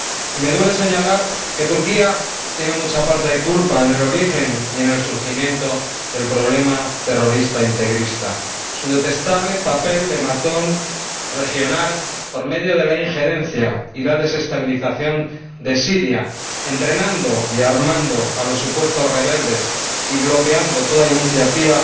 Y me duele señalar que Turquía tiene mucha parte de culpa en el origen y en el surgimiento del problema terrorista integrista, por su detestable papel de matón regional por medio de la injerencia y la desestabilización de Siria, entrenando y armando a los supuestos rebeldes y bloqueando toda iniciativa